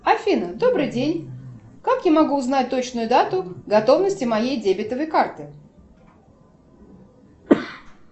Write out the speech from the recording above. афина добрый день как я могу узнать точную дату готовности моей дебетовой карты